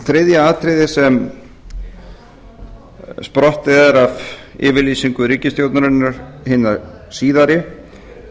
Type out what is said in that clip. þriðja atriðið sem sprottið er af yfirlýsingu ríkisstjórnarinnar hinni síðari